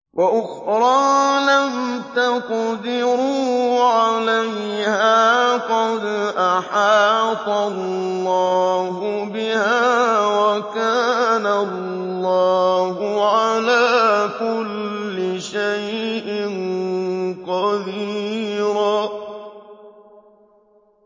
وَأُخْرَىٰ لَمْ تَقْدِرُوا عَلَيْهَا قَدْ أَحَاطَ اللَّهُ بِهَا ۚ وَكَانَ اللَّهُ عَلَىٰ كُلِّ شَيْءٍ قَدِيرًا